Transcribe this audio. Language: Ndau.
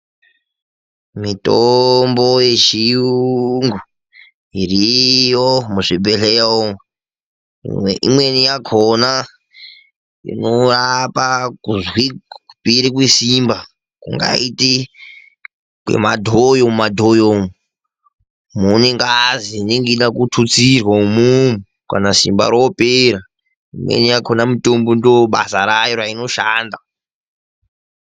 Mitombo yechirungu iriyo muzvibhedhlera umu. Imweni yakhona inorapa kupera kwesimba kungaita kwemadhoyo mumadhoyo umu mune ngazi inenge ichida kuthutsirwa imomo kana simba ropera imweni yakhona mitombo ndobasa rainoshanda.